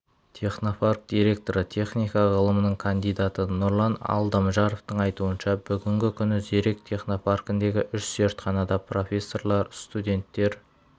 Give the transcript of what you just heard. технопарк директоры техника ғылымының кандидаты нұрлан алдамжаровтың айтуынша бүгінгі күні зерек технопаркіндегі үш зертханада профессорлар студенттер